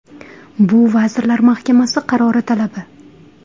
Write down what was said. Bu Vazirlar Mahkamasi qarori talabi.